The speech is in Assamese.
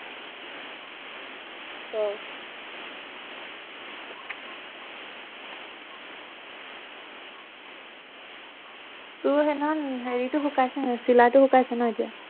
তোৰ হেৰিটো চিলাইটো শুকাইছে নাই এতিয়া